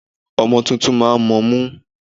Ọmọ tuntun máa ń mọmú.